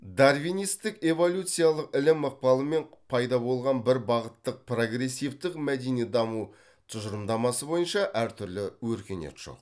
дарвинистік эволюциялық ілім ықпалымен пайда болған бір бағыттық прогрессивтік мәдени даму тұжырымдамасы бойынша әртүрлі өркениет жоқ